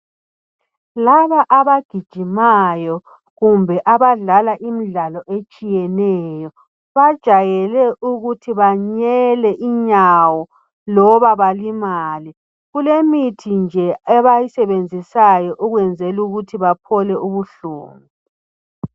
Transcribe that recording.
Laba abagijimayo kumbe abadlala imidlalo etshiyeneyo bajayele ukuthi banyele inyawo loba balimale. Kulemithi nje abayisebenzisayo ukwenzela ukuthi baphole ubuhlungu.